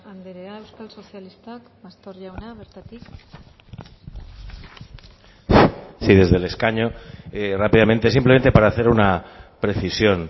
andrea euskal sozialistak pastor jauna bertatik sí desde el escaño rápidamente simplemente para hacer una precisión